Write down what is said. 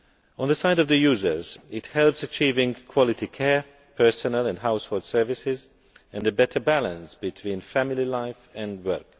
On the side of the users, it helps provide quality care, personal and household services and a better balance between family life and work.